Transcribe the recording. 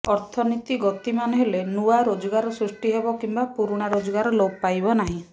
ଅର୍ଥନୀତି ଗତିମାନ ହେଲେ ନୂଆ ରୋଜଗାର ସୃଷ୍ଟି ହେବ କିମ୍ବା ପୁରୁଣା ରୋଜଗାର ଲୋପ ପାଇବ ନାହିଁ